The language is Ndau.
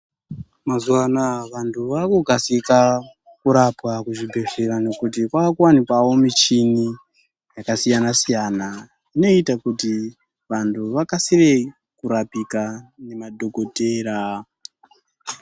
Mazuva anawa vantu vakukasira kurapwa kuzvibhedhlera ngekuti kwakuwanikwa michini yakasiyana siyana inoita kuti vantu vakasire kurapika nemadhokodheya.